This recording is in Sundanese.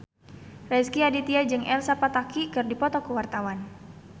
Rezky Aditya jeung Elsa Pataky keur dipoto ku wartawan